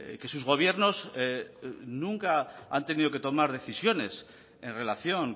que sus gobiernos nunca han tenido que tomar decisiones en relación